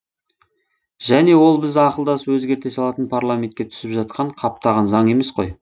және ол біз ақылдасып өзгерте салатын парламентке түсіп жатқан қаптаған заң емес қой